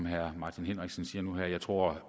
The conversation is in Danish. herre martin henriksen siger nu her jeg tror